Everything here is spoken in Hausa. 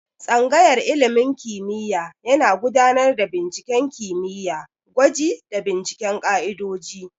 Tsangayar ilimin kimiyya yana gudanar da binciken kimiyya, gwaji, da binciken ka'idoji.